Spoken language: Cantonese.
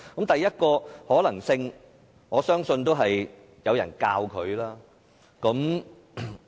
第一個可能性，我相信是有人教他。